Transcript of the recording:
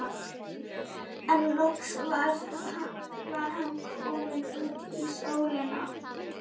En loks var hann kominn út í sólina.